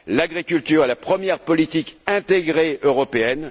L'agriculture est la première politique intégrée européenne.